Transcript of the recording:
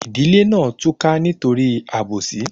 Ìdílé náà túká nítorí àbòsí